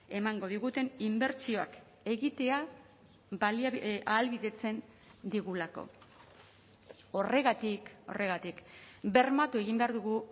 emango diguten inbertsioak egitea ahalbidetzen digulako horregatik horregatik bermatu egin behar dugu